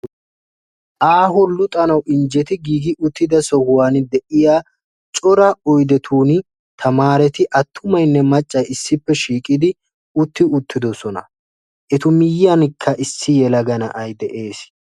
Aaho luxanaw injjeti giig uttida sohuwan de'iyaa cora oyddetun tamararetti artumaynne maccay issippe shiiqidi utti uttidoosona. Etu miyyiyankka issi yelaga na'ay de'ees.